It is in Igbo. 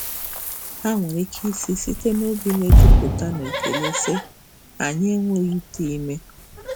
Ha nwere ike ịsị site n'obi na-ejupụta na ekele, sị, "Anyị enweghị ite ime!"